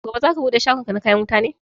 Gobe za ka bude shagon ka na kayan wuta ne?